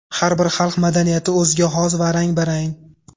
Har bir xalq madaniyati o‘ziga xos va rang-barang.